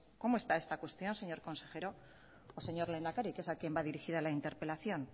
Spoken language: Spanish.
cómo está esta cuestión señor consejero o señor lehendakari que es a quien va dirigida la interpelación